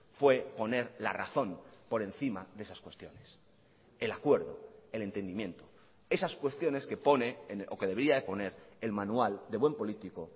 fue poner la razón por encima de esas cuestiones el acuerdo el entendimiento esas cuestiones que pone o que debería de poner el manual de buen político